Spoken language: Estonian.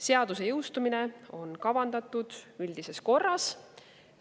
Seaduse jõustumine on kavandatud üldises korras.